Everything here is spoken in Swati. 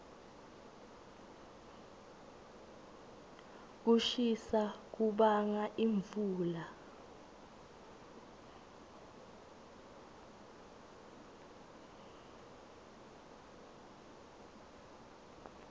kushisa kubanga imfula